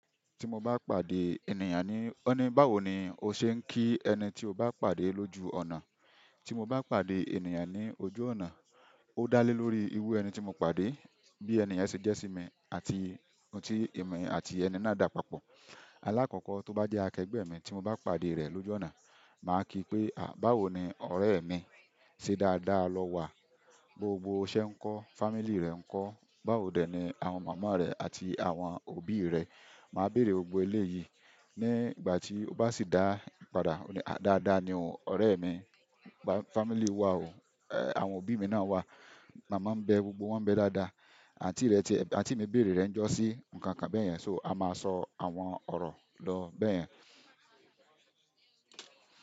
Ti mo bá pàdé ènìyàn ni, "ọ́ ní báwo ni o ṣe ń kí ẹni tí o bá pàdé lójú ọ̀nà?" Ti mo bá pàdé ènìyàn ní ojú ọ̀nà, ó dá lé lórí irú ẹni tí mo pàdé, bí ènìyàn se jẹ́ sí mi àti ohun tí èmi àti ẹni náà dà papọ̀. Alákọ̀kọ̀ tó bá jẹ́ akẹ́gbe mi tí mo bá pàdé rẹ lójú ọ̀nà, màá kí pé, "à báwo ni ọ̀rẹ́ mi? Ṣé dáadáa lọ wà? Gbogbo iṣẹ́ ńkọ́? Fámílì rẹ ńkọ́? Báwo dè ni àwọn mama rẹ àti àwọn òbí rẹ?" Màá bèèrè gbogbo eléyìí. Ni ìgbà tí ó bá sì da padà, "dáadáa ni o ọ̀rẹ́ mi, fámílì wa o, àwọn òbí mi náà wà, màmá ń bẹ gbogbo wọn bẹ dáadáa. Àǹtí rẹ tí àǹtí mi béèrè rẹ ń jọ́sìn?" Ǹkan kan bẹ́ẹ̀ yẹn, so a máa sọ àwọn ọ̀rọ̀ lọ bẹ́ẹ̀ yẹn.